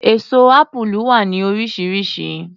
Èso Ápúlú wà ní oríṣiríṣi.